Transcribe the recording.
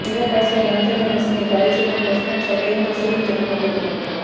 mega power star Ram Charan నిర్మిస్తున్న ఈ భారీ చిత్రం ప్రస్తుతం శరవేగంగా షూటింగ్ జరుపుకుంటుంది